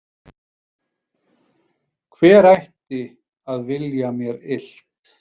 Hver ætti að vilja mér illt?